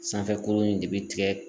Sanfɛ kuru in de bi tigɛ